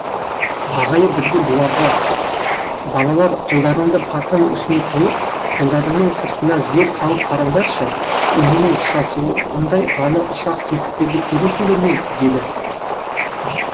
ағайы бірде бұларға балалар қолдарыңды партаның үстіне қойып қолдарыңның сыртына зер салып қараңдаршы иненің жасуындай ғана ұсақ тесіктерді көресіңдер ме деді